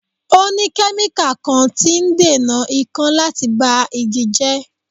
O ní kẹ́míkà kan tí ń dènà ìkan láti ba igi jẹ́.